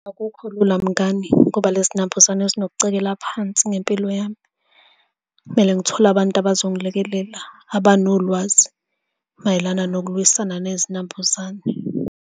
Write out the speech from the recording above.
Akukho lula mngani, ngoba le zinambuzane zokucekela phansi ngempilo yami. Kumele ngithole abantu abazongilekelela, abanolwazi mayelana nokulwisana nezinambuzane.